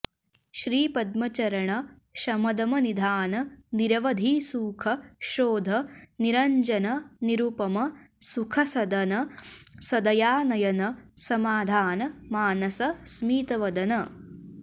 श्रीपद्मचरण शमदमनिधान निरवधिसुख शोध निरञ्जन निरुपम सुखसदन सदयानयन समाधान मानस स्मितवदन